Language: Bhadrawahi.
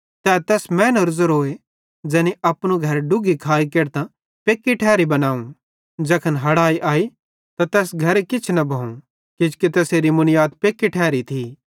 तै तैस मैनेरो ज़ेरोए ज़ैनी अपनू घर डुग्घी खाइ केढतां पेक्की ठैरी घर बनावं ज़ैखन हड़ाई आई त तैस घरे किछ न भोवं किजोकि तैसेरी मुनीयाद पेक्की ठैरी थी